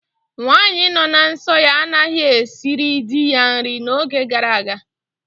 Nwaanyị nọ na nsọ ya anaghị esiri dị ya nri n'oge gara aga